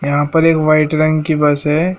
यहां पर एक व्हाइट रंग की बस है।